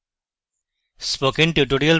spoken tutorial প্রকল্প the